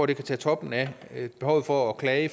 det kan tage toppen af behovet for at klage